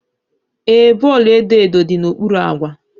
Ee, bọọlụ edo edo dị n'okpuru akwa.